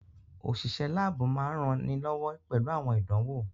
Òṣìṣẹ́ láàbù máa ń ranilọ́wọ́ pẹ̀lú àwọn ìdánwò